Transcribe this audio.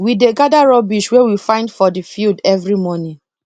we dey gather rubbish wey we find for the field every morning